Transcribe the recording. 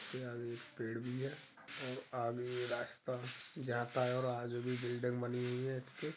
इसके आगे एक पेड़ भी है और आगे रास्ता जाता है और आगे भी बिल्डिंग बनी हुई है इसके।